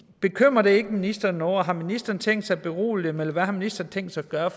bekymrer det ikke ministeren noget og har ministeren tænkt sig at berolige dem eller hvad har ministeren tænkt sig at gøre